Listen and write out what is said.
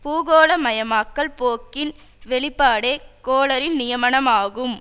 பூகோள மயமாக்கல் போக்கின் வெளிப்பாடே கோலரின் நியமானமாகும்